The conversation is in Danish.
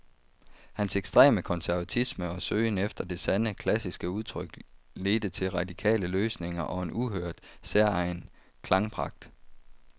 Hans ekstreme konservatisme og søgen efter det sande, klassiske udtryk ledte til radikale løsninger og en uhørt, særegen klangpragt.